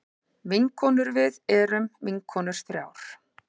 Vinkonurvið erum vinkonur þrjár.